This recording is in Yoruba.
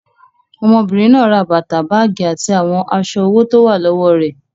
Ọmọbìnrin náà ra bàtà, báágì àti àwọn aṣọ owó tó wà lọ́wọ́ rẹ̀.